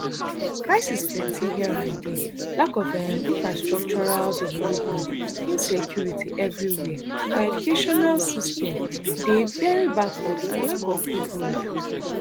crisis plenty here and dia lack of um infrastructural development insecurity evriwia our educational system dey very backward and lack of good road